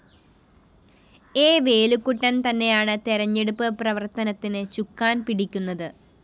A Velukuttan‍ തന്നെയാണ് തെരഞ്ഞെടുപ്പ് പ്രവര്‍ത്തനത്തിന് ചുക്കാന്‍ പിടിക്കുന്നത്